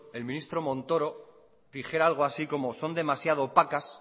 el ministro montoro dijera algo así como son demasiado opacas